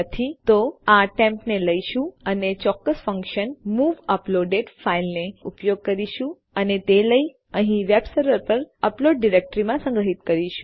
જો નથી તો આપણે આ ટેમ્પ ને લઈશું અને ચોક્કસ ફન્કશન મૂવ અપલોડેડ ફાઈલ નો ઉપયોગ કરીશું અને તે લઇ અહીં વેબ સર્વર પર અપલોડ ડિરેક્ટરીમાં સંગ્રહ કરીશું